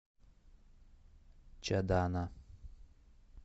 чадана